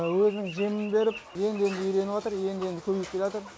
өзінің жемін беріп енді енді үйреніватр енді енді көніп келеатыр